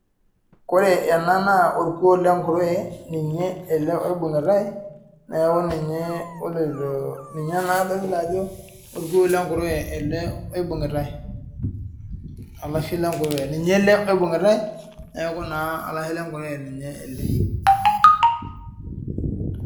Ore ena naa orkuo lee nkuruwe ninye ele oibungitai neeku ninye adolita Ajo orkuo lee nkuruwe oibungitai alalshe lenkuruwe ninye ele oibungitai neeku olashe lee nkuruwe